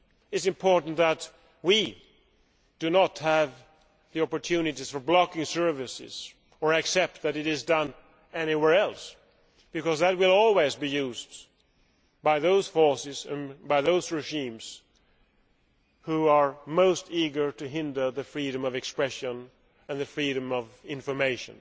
It is important that we do not give opportunities to block services or accept that this is being done anywhere else because that will always be used by those forces and those regimes that are most eager to hinder the freedom of expression and the freedom of information,